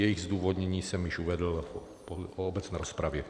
Jejich odůvodnění jsem již uvedl v obecné rozpravě.